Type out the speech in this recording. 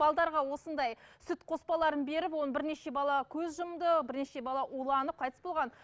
осындай сүт қоспаларын беріп ол бірнеше бала көз жұмды бірнеше бала уланып қайтыс болған